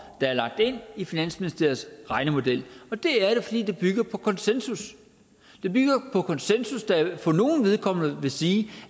der er lagt ind i finansministeriets regnemodel og det er fordi det bygger på konsensus det bygger på konsensus det vil for nogles vedkommende sige